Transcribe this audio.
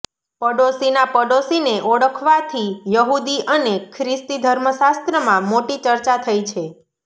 પડોશીના પડોશીને ઓળખવાથી યહૂદી અને ખ્રિસ્તી ધર્મશાસ્ત્રમાં મોટી ચર્ચા થઈ છે